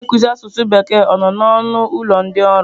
Onye nkuzi asụsụ Bekee ọ nọ n'ọnụ ụlọ ndị ọrụ?